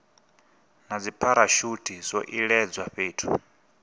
na dzipharashuthi zwo iledzwa fhethu